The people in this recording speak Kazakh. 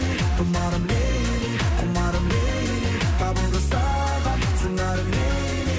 тұмарым лейли кұмарым лейли табылды саған сыңарың лейли